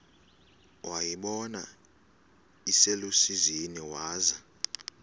wayibona iselusizini waza